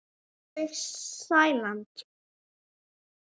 Sólveig Sæland.